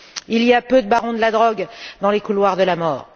Il y a peu de barons de la drogue dans les couloirs de la mort.